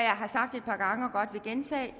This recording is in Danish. har sagt et par gange og godt vil gentage